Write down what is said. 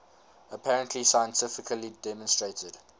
apparently scientifically demonstrated